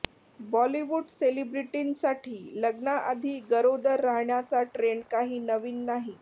बॉलिवूड सेलिब्रिटींसाठी लग्नाआधी गरोदर राहण्याचा ट्रेण्ड काही नवीन नाही